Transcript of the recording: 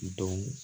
Don